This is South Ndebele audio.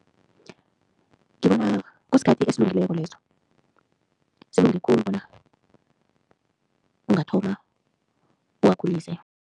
Ngibona kusikhathi esilungileko leso, silinge khulu bona ungathoma uwakhulise.